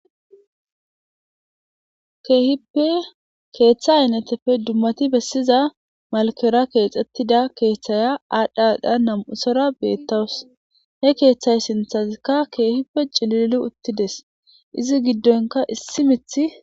Keehippe keeththa ayneteppe dummati bessiza malkera keexxetida keeththaya aadha aadha nam'usora beettawus he keeththayi sinthazikka keehippe cilili uttides izi giddonkka issi miththi.